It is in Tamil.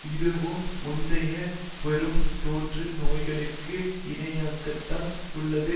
இதுவும் முந்தைய பெரும் தோற்று நோய்களுக்கு இணையாகத்தான் உள்ளது